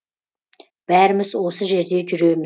бәріміз осы жерде